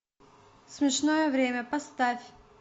смешное время поставь